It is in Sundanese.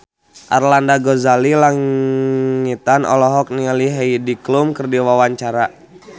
Arlanda Ghazali Langitan olohok ningali Heidi Klum keur diwawancara